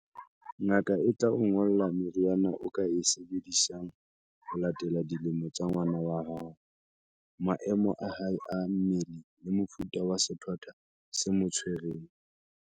Ngaka e tla o ngolla meriana o ka e sebedisang ho latela dilemo tsa ngwana hao, maemo a hae a mmele le mofuta wa sethwathwa se mo tshwereng.